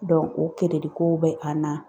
o keredi ko bɛ an na